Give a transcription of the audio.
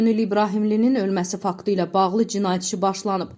Könül İbrahimlinin ölməsi faktı ilə bağlı cinayət işi başlanıb.